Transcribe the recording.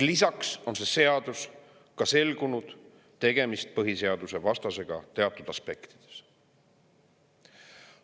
Lisaks on selgunud, et selle seaduse puhul on tegemist põhiseadusvastasusega teatud aspektides.